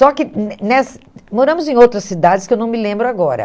Só que hum nessa moramos em outras cidades que eu não me lembro agora.